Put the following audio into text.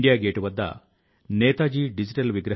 అలాంటి వ్యక్తుల చర్చ చాలా ఓదార్పును ఇస్తుంది